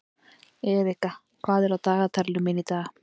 Erika, hvað er á dagatalinu mínu í dag?